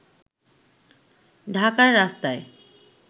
ঢাকার রাস্তায়